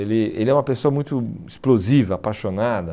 Ele ele é uma pessoa muito explosiva, apaixonada.